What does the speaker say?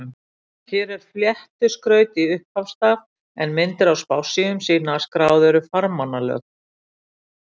Hér er fléttu skraut í upphafsstaf, en myndir á spássíum sýna að skráð eru farmannalög.